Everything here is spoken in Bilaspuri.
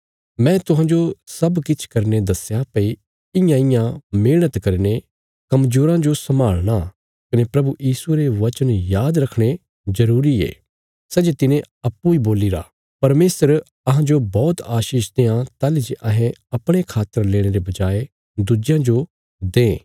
मैं तुहांजो सब किछ करीने दस्या भई इयांइयां मेहणत करीने कमजोराँ जो संभाल़णा कने प्रभु यीशुये रे वचन याद रखणे जरूरी ये सै जे तिने अप्पूँ इ बोलीरा परमेशर अहांजो बौहत आशीष देआं ताहली जे अहें अपणे खातर लेणे रे बजाय दुज्जेयां जो दें